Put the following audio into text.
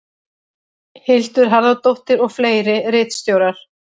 Hildur Harðardóttir og fleiri ritstjórar.